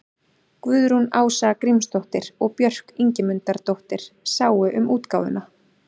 Guðrún Ása Grímsdóttir og Björk Ingimundardóttir sáu um útgáfuna.